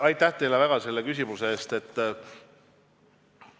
Aitäh teile selle küsimuse eest!